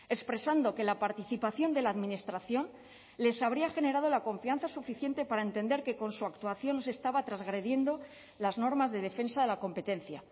expresando que la participación de la administración les habría generado la confianza suficiente para entender que con su actuación estaba transgrediendo las normas de defensa de la competencia